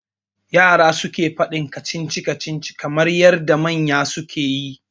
Yara suke faɗin Kacici kacici kamar yadda manya suke yi